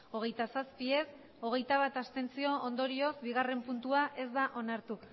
hogeita zazpi ez hogeita bat abstentzio ondorioz bigarren puntua ez da onartu